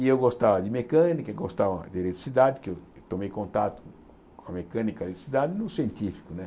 E eu gostava de mecânica, e gostava de eletricidade, que eu tomei contato com a mecânica e eletricidade no científico né.